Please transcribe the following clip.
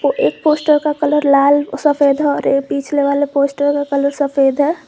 एक पोस्टर का कलर लाल सफेद है और पिछले वाले पोस्टर का कलर सफेद है।